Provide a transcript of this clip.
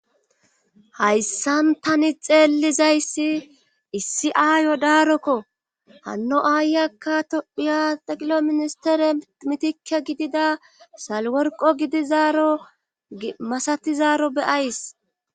hayssan tani xeellizayssi issi aayo daarokko hanno aayakka tophiya xeqilo ministere mitike gidida salworqo gidizaaro masatizaaro beyays